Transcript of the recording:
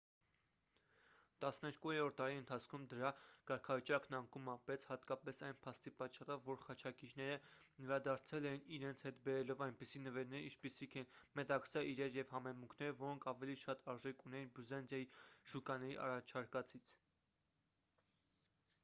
տասներկուերորդ դարի ընթացքում դրա կարգավիճակն անկում ապրեց հատկապես այն փաստի պատճառով որ խաչակիրները վերադարձել էին իրենց հետ բերելով այնպիսի նվերներ ինչպիսիք են մետաքսե իրեր և համեմունքներ որոնք ավելի շատ արժեք ունեին բյուզանդիայի շուկաների առաջարկածից